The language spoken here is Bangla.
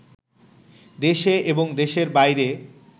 দেশে এবং দেশের বাইরে